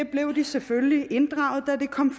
selvfølgelig inddraget da det kom